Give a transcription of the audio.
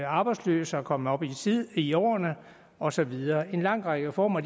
arbejdsløse kommet op i i årene og så videre en lang række reformer